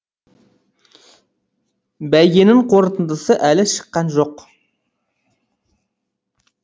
бәйгенің қорытындысы әлі шыққан жоқ